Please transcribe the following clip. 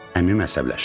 Əmim əsəbləşdi.